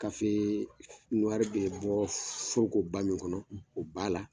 bɛ bɔ forokoba min kɔnɔ, o b'a la.